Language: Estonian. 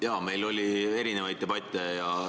Jaa, meil oli erinevaid debatte.